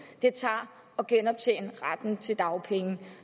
det tager at genoptjene retten til dagpenge